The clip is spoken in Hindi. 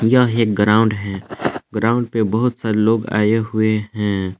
यह एक ग्राउंड है ग्राउंड पे बहोत सारे लोग आए हुए हैं।